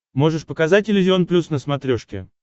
можешь показать иллюзион плюс на смотрешке